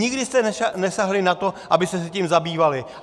Nikdy jste nesáhli na to, abyste se tím zabývali.